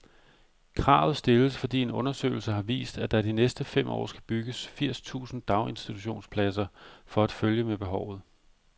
Kravet stilles, fordi en undersøgelse har vist, at der de næste fem år skal bygges firs tusind daginstitutionspladser for at følge med behovet.